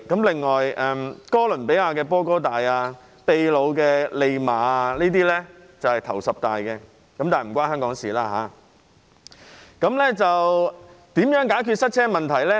另外，哥倫比亞的波哥大、秘魯的利馬，這些城市都在十大之列，但這與香港無關。